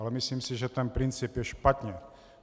Ale myslím si, že ten princip je špatně.